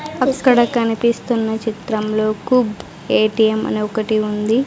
అక్కడ కనిపిస్తున్న చిత్రంలో కు ఏటీఎం అనే ఒకటి ఉంది.